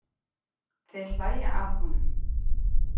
Þeir hlæja að honum.